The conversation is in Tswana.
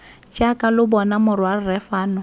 jaaka lo bona morwarre fano